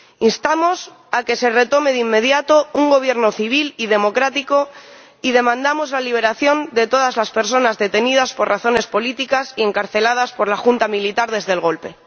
Instamos a que se reinstaure de inmediato un gobierno civil y democrático y demandamos la liberación de todas las personas detenidas por razones políticas y encarceladas por la junta militar desde el golpe.